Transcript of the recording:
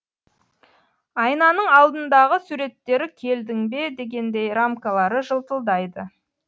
айнаның алдындағы суреттері келдің бе дегендей рамкалары жылтылдайды